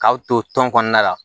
K'aw to tɔn kɔnɔna la